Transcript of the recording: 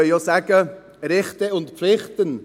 Wir können auch sagen, Rechte und Pflichten.